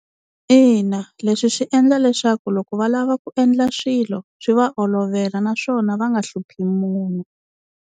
Ina leswi swi endla leswaku loko va lava ku endla swilo swi va olovela naswona va nga hluphi munhu.